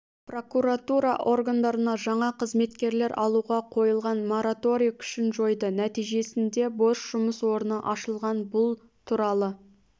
прокуратура органдарына жаңа қызметкерлер алуға қойылған мораторий күшін жойды нәтижесінде бос жұмыс орны ашылған бұл туралы